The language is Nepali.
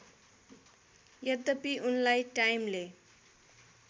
यद्यपि उनलाई टाइमले